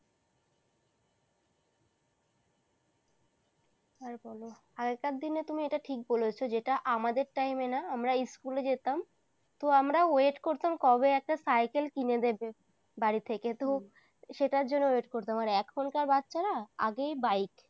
আর বলো, আগেকার দিনে তুমি এটা ঠিক বলেছ যেটা আমাদের time এ না আমরা স্কুলে যেতাম তো আমরা wait করতাম কবে একটা সাইকেল কিনে দেবে বাড়ি থেকে তো সেটার জন্য wait করতাম আর এখনকার বাচ্চারা আগেই বাইক